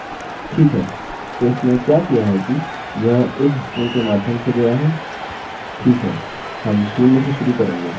ठीक है तो इसने क्या किया है कि यह इस स्ट्रिंग के माध्यम से गया है ठीक है हम शून्य से शुरू करेंगे और 1 2 के लिए इसे यहाँ एको करेंगे